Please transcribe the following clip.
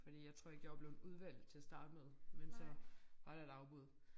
Fordi jeg tror ikke jeg var blevet udvalgt til at starte med men så var der et afbud